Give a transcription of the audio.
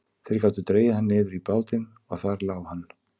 Þeir gátu dregið hann niður í bátinn og þar lá hann.